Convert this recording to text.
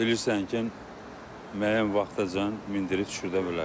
Bilirsən ki, müəyyən vaxtacan mindirib düşürdə bilərsən.